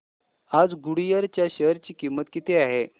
आज गुडइयर च्या शेअर ची किंमत किती आहे